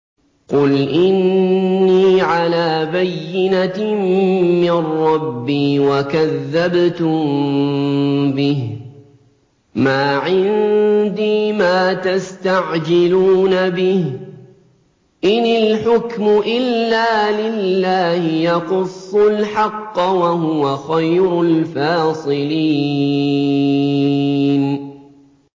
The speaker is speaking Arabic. قُلْ إِنِّي عَلَىٰ بَيِّنَةٍ مِّن رَّبِّي وَكَذَّبْتُم بِهِ ۚ مَا عِندِي مَا تَسْتَعْجِلُونَ بِهِ ۚ إِنِ الْحُكْمُ إِلَّا لِلَّهِ ۖ يَقُصُّ الْحَقَّ ۖ وَهُوَ خَيْرُ الْفَاصِلِينَ